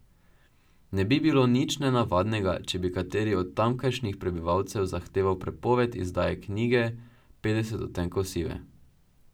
Ne bi bilo nič nenavadnega, če bi kateri od tamkajšnjih prebivalcev zahteval prepoved izdaje knjige Petdeset odtenkov sive.